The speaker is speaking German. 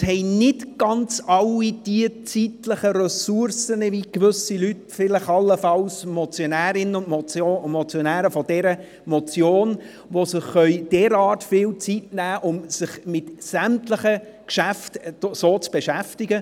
Nicht alle haben die zeitlichen Ressourcen, wie gewisse Leute, wie allenfalls die Motionärinnen und Motionäre dieser Motion sie haben, und können sich derart viel Zeit nehmen, um sich mit sämtlichen Geschäften so zu beschäftigen.